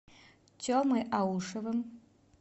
темой аушевым